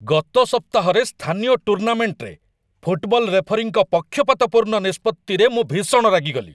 ଗତ ସପ୍ତାହରେ ସ୍ଥାନୀୟ ଟୁର୍ଣ୍ଣାମେଣ୍ଟରେ ଫୁଟବଲ୍ ରେଫରୀଙ୍କ ପକ୍ଷପାତପୂର୍ଣ୍ଣ ନିଷ୍ପତ୍ତିରେ ମୁଁ ଭୀଷଣ ରାଗିଗଲି।